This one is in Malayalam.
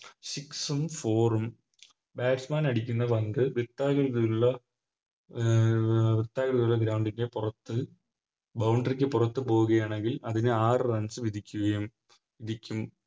Six ഉം Four ഉം Batsman അടിക്കുന്ന പന്ത് വൃത്താകൃതിയുള്ള അഹ് വൃത്താകൃതിയുള്ള Ground ൻറെ പുറത്ത് Boundary ക്ക് പുറത്ത് പോകുകയാണെങ്കിൽ അതിനെ ആറ് Runs വിധിക്കുകയും വിധിക്കും